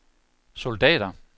soldater